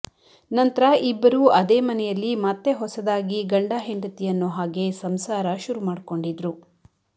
ನಂತ್ರ ಇಬ್ಬರು ಅದೇ ಮನೆಯಲ್ಲಿ ಮತ್ತೆ ಹೊಸದಾಗಿ ಗಂಡ ಹೆಂಡತಿ ಅನ್ನೋ ಹಾಗೆ ಸಂಸಾರ ಶುರುಮಾಡ್ಕೊಂಡಿದ್ರು